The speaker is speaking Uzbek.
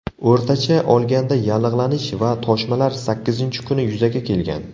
O‘rtacha olganda yallig‘lanish va toshmalar sakkizinchi kuni yuzaga kelgan.